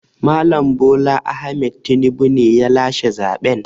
Mal. Bola Ahmaed Tinibu ne ya lashe zaɓen.